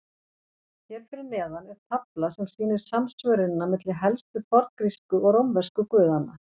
Hér fyrir neðan er tafla sem sýnir samsvörunina milli helstu forngrísku og rómversku guðanna.